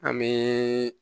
An bɛ